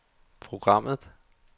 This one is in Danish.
programmet